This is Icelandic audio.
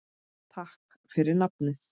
Takk fyrir nafnið.